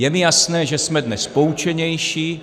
Je mi jasné, že jsme dnes poučenější.